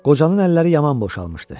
Qocanın əlləri yaman boşalmışdı.